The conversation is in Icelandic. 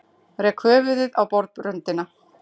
Rek höfuðið í borðröndina.